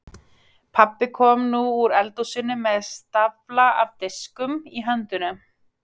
Pabbi kom nú úr eldhúsinu með stafla af diskum í höndunum.